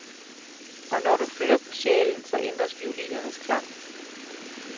Og når du flytter på sjælen, så ændres violinens klang.